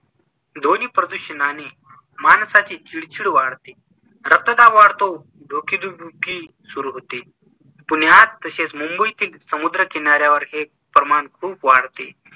ध्वनिप्रदूषणाने माणसाची चिडचिड वाढते, रक्तदाब वाढतो, डोकेदुखी सुरू होते. पुण्यात तसेच मुंबईतील समुद्रकिनाऱ्यावर हे प्रमाण खूप वाढते.